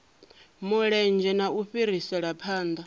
mulenzhe na u fhirisela phanḓa